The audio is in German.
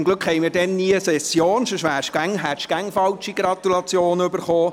Zum Glück haben wir dann nie Session, sonst hätten Sie immer falsche Gratulationen erhalten.